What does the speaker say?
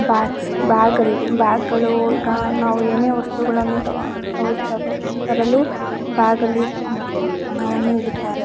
Bags ಬ್ಯಾಗ್ಗಳು ಅಲ್ಲಿ ಬ್ಯಾಗ್ಗಳು ನಾವು ಏನೆ ವಸ್ತುಗಳನ್ನು ತೊಗೊಂಡ್ರೆ ತರಲು ಬ್ಯಾಗಲ್ಲಿ ಹಣವನ್ನು ಇಡುತ್ತಾರೆ.